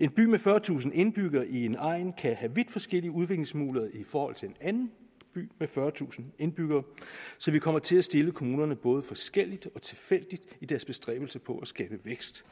en by med fyrretusind indbyggere i en egn kan have vidt forskellige udviklingsmuligheder i forhold til en anden by med fyrretusind indbyggere så vi kommer til at stille kommunerne både forskelligt og tilfældigt i deres bestræbelser på at skabe vækst